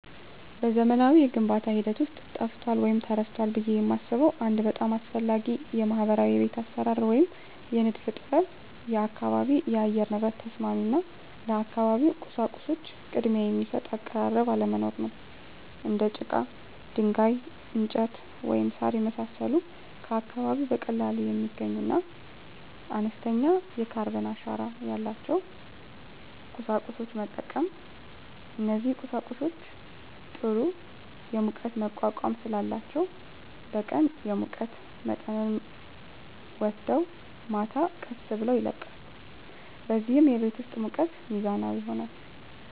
በዘመናዊው የግንባታ ሂደት ውስጥ ጠፍቷል ወይም ተረስቷል ብዬ የማስበው አንድ በጣም አስፈላጊ ባህላዊ የቤት አሰራር ወይም የንድፍ ጥበብ የአካባቢ የአየር ንብረት ተስማሚ እና ለአካባቢው ቁሳቁሶች ቅድሚያ የሚሰጥ አቀራረብ አለመኖር ነው። እንደ ጭቃ፣ ድንጋይ፣ እንጨት፣ ወይም ሣር የመሳሰሉ ከአካባቢው በቀላሉ የሚገኙና አነስተኛ የካርበን አሻራ ያላቸውን ቁሳቁሶች መጠቀም። እነዚህ ቁሳቁሶች ጥሩ የሙቀት መቋቋም ስላላቸው በቀን የሙቀት መጠንን ወስደው ማታ ቀስ ብለው ይለቃሉ፣ በዚህም የቤት ውስጥ ሙቀት ሚዛናዊ ይሆናል።